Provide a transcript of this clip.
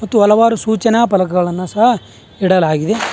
ಮತ್ತು ಹಲವಾರು ಸೂಚನಾ ಫಲಕಗಳನ್ನು ಸಹ ಇಡಲಾಗಿದೆ.